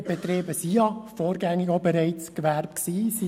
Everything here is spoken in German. Diese Betriebe waren ja bereits zuvor als Gewerbe eingestuft.